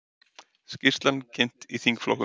Skýrslan kynnt í þingflokkum